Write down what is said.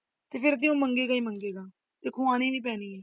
ਤੇ ਫਿਰ ਤੇ ਉਹ ਮੰਗੇਗਾ ਹੀ ਮੰਗੇਗਾ ਤੇ ਖਵਾਣੀ ਵੀ ਪੈਣੀ ਹੈ।